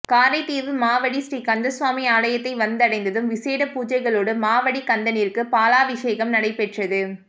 காரைதீவு மாவடி ஸ்ரீ கந்தசுவாமி ஆலயத்தை வந்தடைந்ததும் விசேட பூசைகளோடு மாவடிக் கந்தனிற்கு பாலாவிஷேகம் நடைபெற்றது